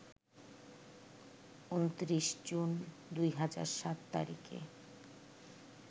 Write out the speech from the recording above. ২৯ June ২০০৭ তারিখে